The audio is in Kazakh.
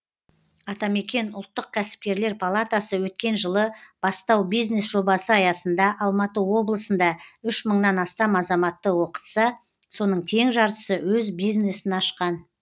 атамекен ұлттық кәсіпкерлер палатасы өткен жылы бастау бизнес жобасы аясында алматы облысында үш мыңнан астам азаматты оқытса соның тең жартысы өз бизнесін ашқан